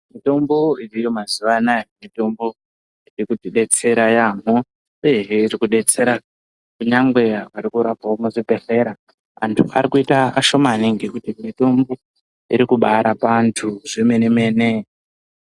Mutombo iriyo mazuwa anaya mutombo iri kuti detsera yaampo uyehe iri kudetsera kunyangwe vari kurapwawo muzvibhedhlera antu ari kuita ashomani ngekuti mutombo iri kubaarapa antu zvemene mene.